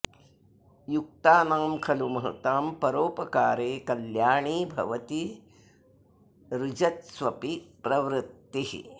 युक्तानां खलु महतां परोपकारे कल्याणी भवति रुजत्स्वपि प्रवृत्तिः